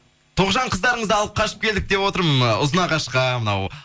тоғжан қыздарыңызды алып қашып келдік деп отырмын ы ұзынағашқа мынау